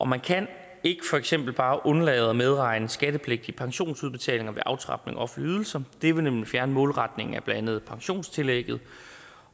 man kan ikke for eksempel bare undlade at medregne skattepligtige pensionsudbetalinger ved aftrapning af offentlige ydelser det vil nemlig fjerne målretningen af blandt andet pensionstillægget